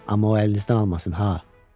Amma o əlinizdən almasın ha.